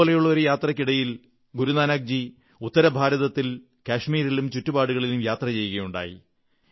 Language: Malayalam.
ഇതുപോലുള്ള ഒരു യാത്രയ്ക്കിടയിൽ ഗുരുനാനക്ജി ഉത്തരഭാരത്തിൽ കശ്മീരിലും ചുറ്റുപാടുകളിലും യാത്ര ചെയ്യുകയുണ്ടായി